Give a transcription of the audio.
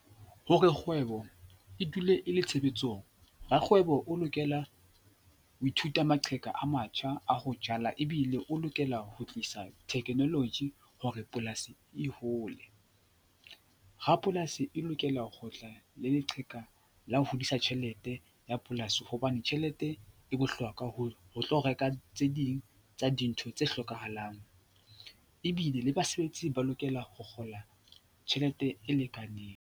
Hore kgwebo e dule e le tshebetsong, rakgwebo o lokela ho ithuta maqheka a matjha a ho jala ebile o lokela ho tlisa Technology hore polasi e hole. Rapolasi e lokela ho tla le leqheka la ho hodisa tjhelete ya polasi hobane tjhelete e bohlokwa ho tlo reka tse ding tsa dintho tse hlokahalang ebile le basebetsi ba lokela ho kgola tjhelete e lekaneng.